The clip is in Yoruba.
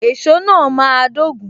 Èso náà máa dogun.